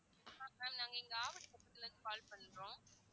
ma'am நாங்க இங்க ஆவடி பக்கத்துல இருந்து call பண்றோம்.